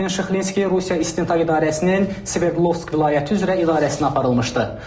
Şahin Şıxlinski Rusiya İstintaq İdarəsinin Sverdlovsk vilayəti üzrə idarəsinə aparılmışdı.